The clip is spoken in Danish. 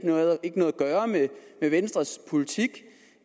gøre med venstres politik